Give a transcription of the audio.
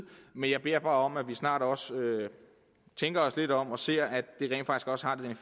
men jeg beder bare om at vi snart også tænker os lidt om og ser at